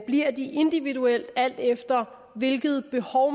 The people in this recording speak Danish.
bliver de individuelt alt efter hvilket behov